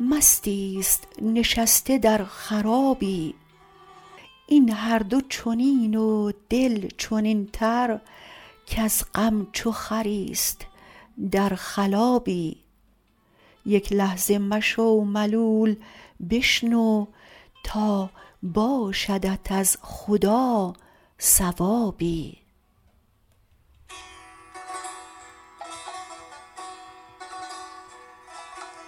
مستی است نشسته در خرابی این هر دو چنین و دل چنینتر کز غم چو خری است در خلابی یک لحظه مشو ملول بشنو تا باشدت از خدا ثوابی